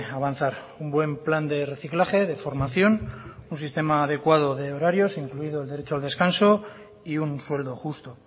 avanzar un buen plan de reciclaje de formación un sistema adecuado de horarios incluido el derecho al descanso y un sueldo justo